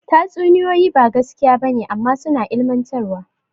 Tatsuniyoyi ba gaskiya ba ne amma suna ilmantarwa.